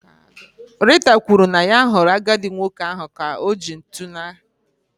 Rita kwuru na ya hụrụ ka-agadi nwoke ahụ ka oji ntụ ahụ.